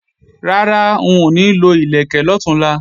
Rárá, n ò ní lo ìlẹ̀kẹ̀ lọ̀túnla